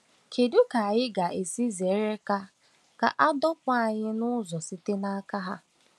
Kedu ka anyị ga-esi zere ka a ka a dọpụ anyị n’ụzọ site n’aka ha?